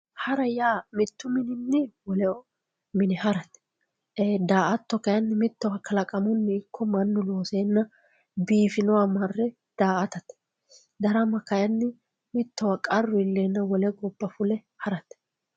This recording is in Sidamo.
Hara ya mittu mininni wole mine harate ee daato kayinni mitowa kalaqamuni iko manu loosenna bifinowa maare daatatte darama kayinni mitowa qaru ilena wolle goba fulle haratte